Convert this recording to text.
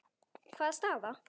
Hvaða staða?